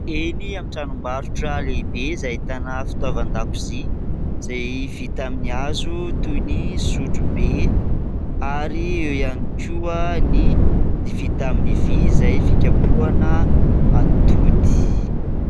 Eny amin'ny tranom-barotra lehibe izay ahitana fitaovan-dakozia , izay vita amin'ny hazo toy ny sotrobe ary eo ihany koa ny vita amin'ny vy izay fikapohana atody.